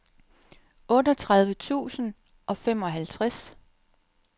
otteogtredive tusind og femoghalvtreds